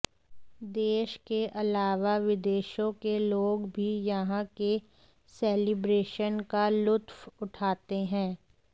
देश के अलावा विदेशों के लोग भी यहां के सेलिब्रेशन का लुत्फ उठाते हैं